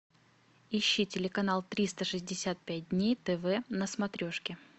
ищи телеканал триста шестьдесят пять дней тв на смотрешке